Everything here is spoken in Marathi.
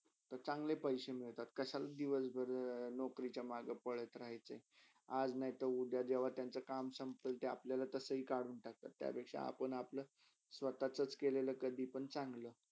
ते चांगले पैशे मिलतात कशाला दिवसभर नोकरीच्या माघे पळत राहयचे. आज नायते उद्या जेव्हा त्यांच्या काम संपेल ते अपल्याला तसेही कडून टाकतात त्यापेक्षा अपुन अपल्या स्वतचास केलेला कधी पण चंगला.